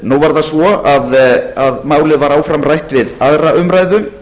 nú er það svo að málið var áfram rætt við aðra umræðu